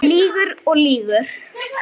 Lýgur og lýgur.